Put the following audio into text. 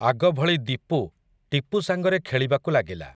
ଆଗଭଳି ଦୀପୁ, ଟିପୁ ସାଙ୍ଗରେ ଖେଳିବାକୁ ଲାଗିଲା ।